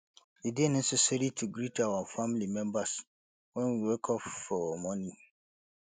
e de necessary to greet our family members when we wake up for morning